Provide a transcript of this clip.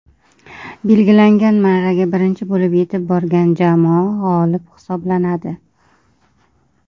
Belgilangan marraga birinchi bo‘lib yetib borgan jamoa g‘olib hisoblanadi.